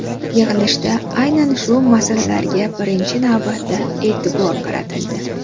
Yig‘ilishda aynan shu masalalarga birinchi navbatda e’tibor qaratildi.